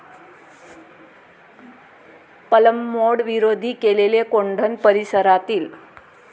पलंमोड विरोधी केलेले कोंढण परिसरातील